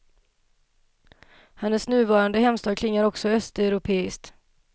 Hennes nuvarande hemstad klingar också östeuropeiskt.